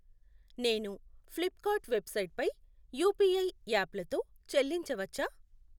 నేను Flipkart website పై UPI యాప్లతో చెల్లించవచ్చా?